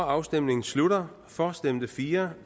afstemningen slutter for stemte fire